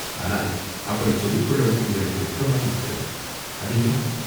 ஆனால் அப்படிச் சொல்லிக் கொள்ளவும் எங்களுக்கு வெட்கமாயிருக்கிறது." "அது ஏன்?"